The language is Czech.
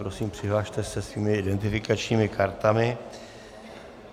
Prosím, přihlaste se svými identifikačními kartami.